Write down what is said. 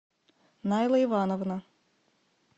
найла ивановна